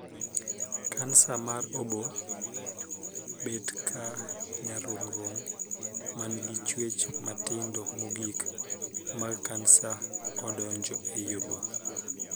Kansa mar oboo bet ka nyarung'rung' man gi chuech matindo mogik mag kansa odonjo ei oboo.